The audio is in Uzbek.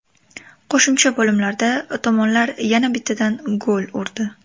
Qo‘shimcha bo‘limlarda tomonlar yana bittadan gol urdi.